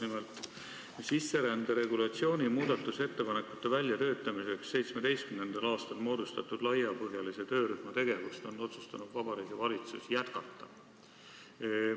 Nimelt, sisserände regulatsiooni muudatusettepanekute väljatöötamiseks 2017. aastal moodustatud laiapõhjalise töörühma tegevust on Vabariigi Valitsus otsustanud jätkata.